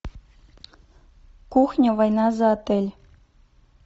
кухня война за отель